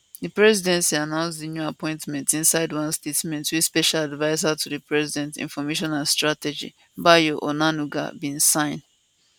di presidency announce di new appointments inside one statement wey special adviser to di president information and strategy bayo onanuga bin sign um